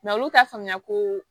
olu t'a faamuya ko